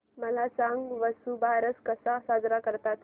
मला सांग वसुबारस कसा साजरा करतात